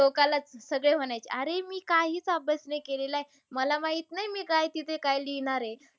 टोकालाच सगळे म्हणायचे कि अरे मी काहीच अभ्यास नाही केलेलाय. मला माहित नाय मी तिथे काय लिहणार आहे.